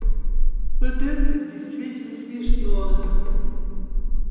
вот это действительно смешно